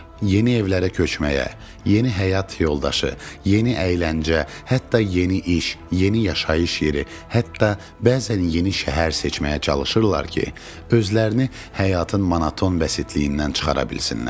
Yeni evlərə köçməyə, yeni həyat yoldaşı, yeni əyləncə, hətta yeni iş, yeni yaşayış yeri, hətta bəzən yeni şəhər seçməyə çalışırlar ki, özlərini həyatın monoton bəsitliyindən çıxara bilsinlər.